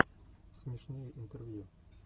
смешные интервью